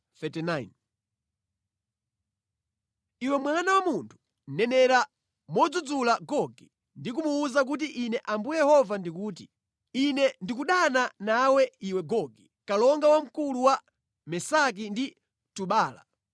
“Iwe mwana wa munthu, nenera modzudzula Gogi ndi kumuwuza kuti Ine Ambuye Yehova ndikuti: ‘Ine ndikudana nawe, iwe Gogi, kalonga wamkulu wa Mesaki ndi Tubala.